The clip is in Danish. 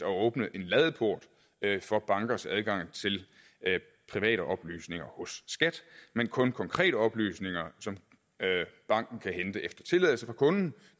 at åbne en ladeport for bankers adgang til private oplysninger hos skat men kun konkrete oplysninger som banken kan hente efter tilladelse fra kunden